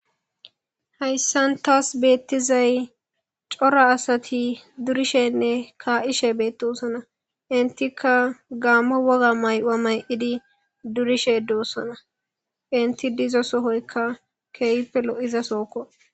Haysan taas beetizay cora asati durishene kaa'ishe beetoosona. Entika Gaammo woga mayo mayidi durishe doosona. Enti diza sohoyka keehippe lo'iza sohoko.